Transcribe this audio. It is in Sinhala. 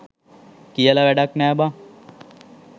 කියල වැඩක් නෑ බං